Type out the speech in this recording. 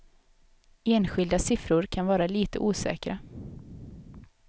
Enskilda siffror kan vara lite osäkra.